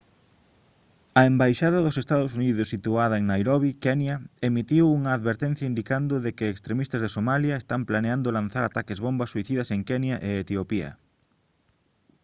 a embaixada dos ee. uu. situada en nairobi kenya emitiu unha advertencia indicando de que «extremistas de somalia» están planeando lanzar ataques bomba suicidas en kenya e etiopía